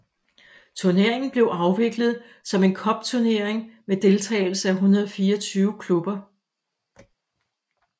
Turneringen blev afviklet som en cupturnering med deltagelse af 124 klubber